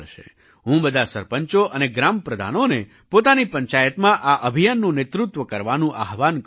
હું બધા સરપંચો અને ગ્રામપ્રધાનોને પોતાની પંચાયતમાં આ અભિયાનનું નેતૃત્વ કરવાનું આહ્વાન કરું છું